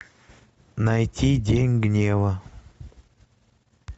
найти день гнева